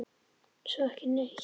Svo ekki neitt.